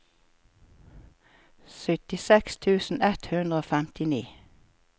syttiseks tusen ett hundre og femtini